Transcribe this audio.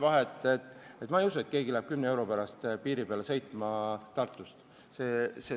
Ma ei usu, et keegi sõidab selle 10 euro pärast näiteks Tartust Lätti.